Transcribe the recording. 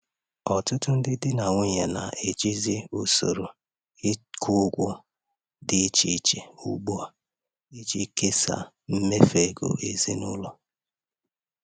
Ọtụtụ ndị di na nwunye na-ejizi usoro ịkwụ ụgwọ dị iche iche ugbu a iji kesaa mmefu ego ezinụlọ.